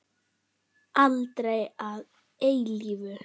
Aldrei að eilífu.